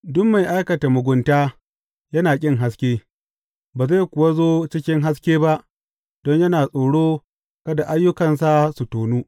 Duk mai aikata mugunta yana ƙin haske, ba zai kuwa zo cikin haske ba don yana tsoro kada ayyukansa su tonu.